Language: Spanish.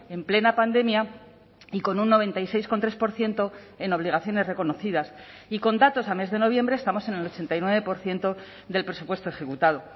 en plena pandemia y con un noventa y seis coma tres por ciento en obligaciones reconocidas y con datos a mes de noviembre estamos en el ochenta y nueve por ciento del presupuesto ejecutado